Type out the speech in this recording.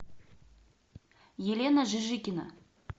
елена жижикина